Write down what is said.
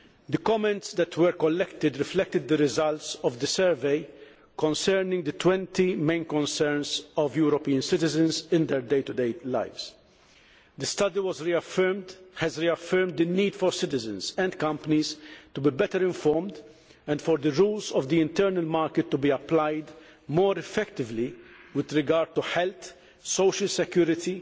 The comments that were collected reflected the results of the survey concerning the 20 main concerns of European citizens in their day to day lives. The study has reaffirmed the need for citizens and companies to be better informed, and for the rules of the internal market to be applied more effectively with regard to health, social security,